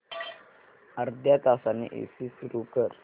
अर्ध्या तासाने एसी सुरू कर